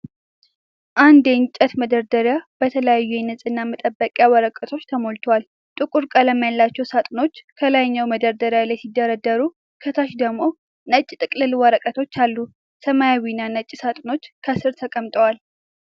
አንድ የእንጨት መደርደሪያ በተለያዩ የንጽህና መጠበቂያ ወረቀቶች ተሞልቷል። ጥቁር ቀለም ያላቸው ሳጥኖች ከላይኛው መደርደሪያ ላይ ሲደረደሩ፣ ከታች ደግሞ ነጭ ጥቅል ወረቀቶች አሉ። ሰማያዊና ነጭ ሳጥኖች ከስር ተቀምጠዋል።